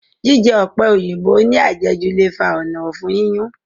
Jíjẹ ọ̀pẹ̀ òyìnbó ní àjẹjù le fa ònà ọ̀fun yíyún